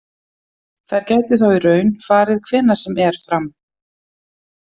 Þær gætu þá í raun farið hvenær sem er fram.